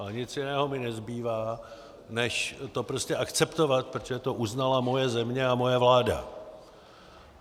Ale nic jiného mi nezbývá než to prostě akceptovat, protože to uznala moje země a moje vláda.